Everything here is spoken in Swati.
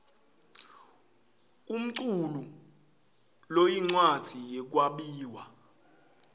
umculu loyincwadzi yekwabiwa